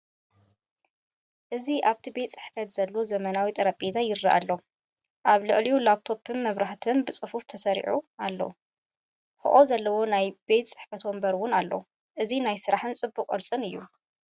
እዚ ኣብቲ ቤት ጽሕፈት ዘሎ ዘመናዊ ጠረጴዛ ይረአ ኣሎ። ኣብ ልዕሊኡ ላፕቶፕን መብራህትን ብጽፉፍ ተሰሪዖም ኣለዉ። ሕቖ ዘለዎ ናይ ቤት ጽሕፈት መንበር እውን ኣሎ። እዚ ናይ ስራሕን ጽቡቕ ቅርጽን እዩ።